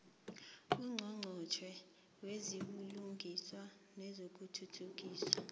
ungqongqotjhe wezobulungiswa nokuthuthukiswa